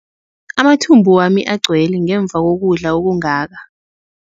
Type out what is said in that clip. Amathumbu wami agcwele ngemva kokudla okungaka.